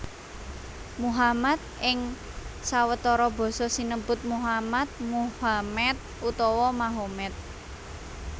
Muhammad ing sawetara basa sinebut Mohammad Mohammed utawa Mahomet